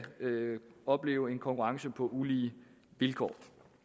opleve en konkurrence på ulige vilkår